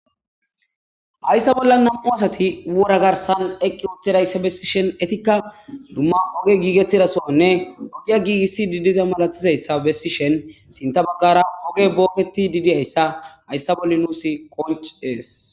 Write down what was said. Haysa bollan 2 asat wora garasn eqi utidayta gidishn etika duma ogey gigetida dohone oge gigisid diza malatizaysa besishn sinta bagara ogey boketid dizaysa haysa bolla nus woncises.